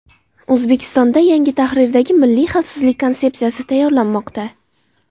O‘zbekistonda yangi tahrirdagi Milliy xavfsizlik konsepsiyasi tayyorlanmoqda.